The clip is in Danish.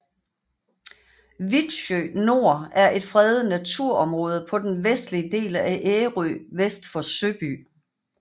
Vitsø Nor er et fredet naturområde på den vestlige del af Ærø vest for Søby